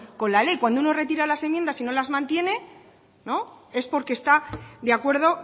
con la ley cuando uno retira las enmiendas y no las mantiene es porque está de acuerdo